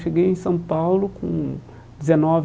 Cheguei em São Paulo com dezenove